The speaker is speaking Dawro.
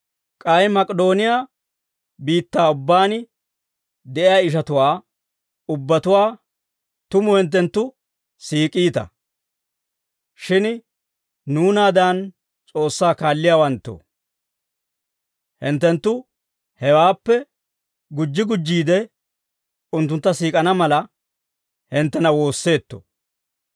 K'ay Mak'idooniyaa biittaa ubbaan de'iyaa ishatuwaa ubbatuwaa tumu hinttenttu siik'iita. Shin nuunaadan S'oossaa kaalliyaawanttoo, hinttenttu hewaappe gujji gujjiide unttuntta siik'ana mala, hinttena woosseetto.